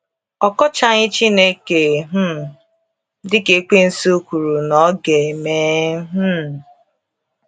Ọ kọchaghị Chineke um dị ka Ekwensụ kwuru na ọ ga - eme. um